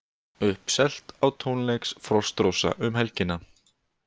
Uppselt á tónleiks Frostrósa um helgina